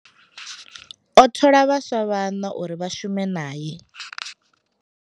O thola vhaswa vhaṋa uri vha shume nae.